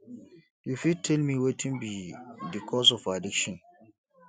you fit tell me wetin be di cause of addiction